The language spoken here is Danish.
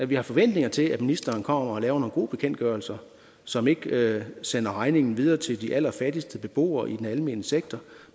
vi har forventninger til at ministeren kommer og laver nogle gode bekendtgørelser som ikke sender regningen videre til de allerfattigste beboere i den almene sektor